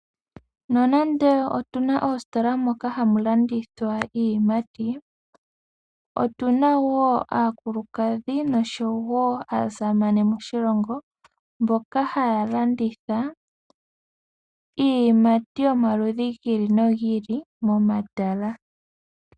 Nonande otu na oositola moka hamu landithwa iiyimati, otu na wo aakulukadhi noshowo aasamane moshilongo mboka haya landitha iiyimati yomaludhi gi ili nogi ili momatala.